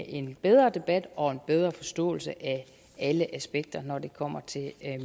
en bedre debat og en bedre forståelse af alle aspekter når det kommer til